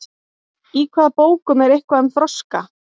í hvaða bókum er eitthvað um froska